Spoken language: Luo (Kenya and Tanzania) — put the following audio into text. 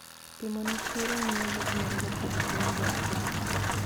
Piemo ne chiro mio yuto mar jopidh gwen do piny.